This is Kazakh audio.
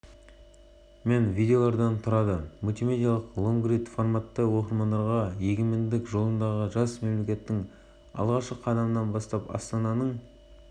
веб-деректі жоба жылдан бастап жылға дейінгі ширек ғасырда еліміз басынан өткерген айтулы оқиғаларды ұсынған архивтік фотолар